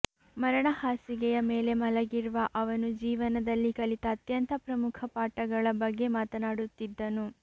ಮರಣ ಹಾಸಿಗೆಯ ಮೇಲೆ ಮಲಗಿರುವ ಅವನು ಜೀವನದಲ್ಲಿ ಕಲಿತ ಅತ್ಯಂತ ಪ್ರಮುಖ ಪಾಠಗಳ ಬಗ್ಗೆ ಮಾತನಾಡುತ್ತಿದ್ದನು